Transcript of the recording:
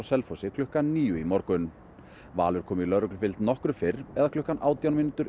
klukkan níu í morgun Valur kom í lögreglufylgd nokkru fyrr eða klukkan